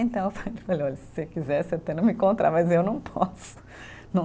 Então eu falei olha, se você quiser, você até, mas eu não posso, não